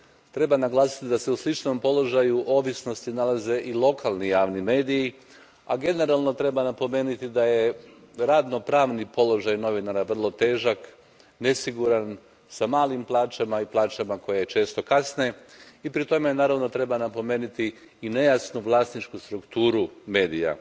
Treba naglasiti da se u sličnom položaju ovisnosti nalaze i lokalni javni mediji, a generalno treba napomenuti da je radno pravni položaj novinara vrlo težak, nesiguran, s malim plaćama i plaćama koje često kasne i pri tome, naravno, treba napomenuti i nejasnu vlasničku strukturu medija.